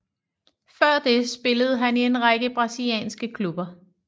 Før det spillede han i en række brasilianske klubber